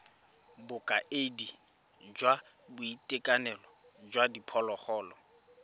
bokaedi jwa boitekanelo jwa diphologolo